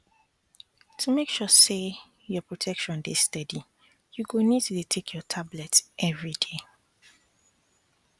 to make sure say your protection dey steady you go need to dey take your tablet everyday